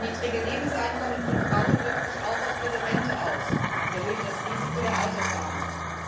Das niedrige Lebenseinkommen von Frauen wirkt sich auch auf ihre Rente aus und erhöht das Risiko der Altersarmut.